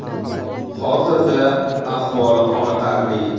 Hozirda ahvoli qoniqarli.